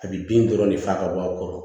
A bi bin dɔrɔn ne fa ka bɔ a kɔrɔ